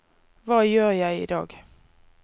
hva gjør jeg idag